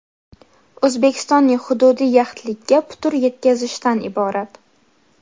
O‘zbekistonning hududiy yaxlitligiga putur yetkazishdan iborat.